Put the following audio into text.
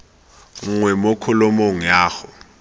nngwe mo kholomong ya go